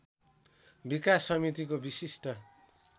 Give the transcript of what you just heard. विकास समितिको विशिष्ट